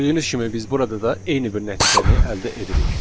Gördüyünüz kimi biz burada da eyni bir nəticəni əldə edirik.